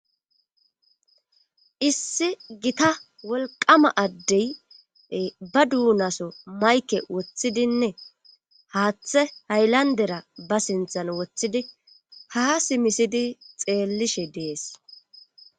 Issi gita wolqama addey ba duunaso mayke woththidinne haaththe haylandera ba sinthan woththidi ha simisidi xeellishe dees.